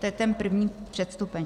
To je ten první předstupeň.